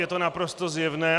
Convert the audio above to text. Je to naprosto zjevné.